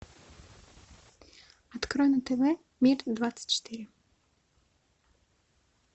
открой на тв мир двадцать четыре